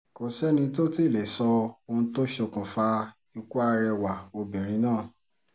kò sẹ́ni tó tì í lè sọ ohun tó ṣokùnfà ikú arẹwà obìnrin náà